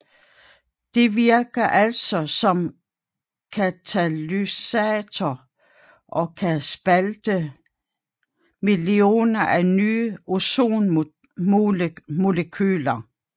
Det virker altså som katalysator og kan spalte millioner af nye ozonmolekyler